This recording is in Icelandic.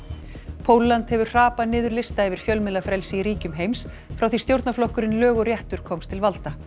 Pólland hefur hrapað niður lista yfir fjölmiðlafrelsi í ríkjum heims frá því stjórnarflokkurinn lög og réttur komst til valda